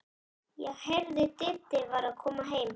Ég heyrði að Diddi var að koma heim.